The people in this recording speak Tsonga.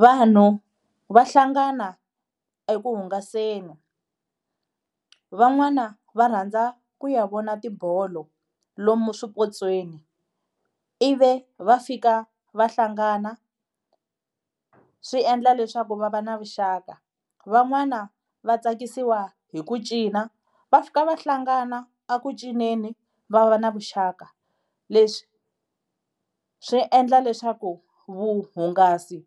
Vanhu va hlangana eku hungaseni, van'wana va rhandza ku ya vona tibolo lomu swipotsweni ivi va fika va hlangana swi endla leswaku va va na vuxaka. Van'wana va tsakisiwa hi ku cina va fika va hlangana a ku cinceni va va na vuxaka, leswi swi endla leswaku vuhungasi